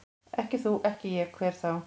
Ekki þú, ekki ég, hver þá?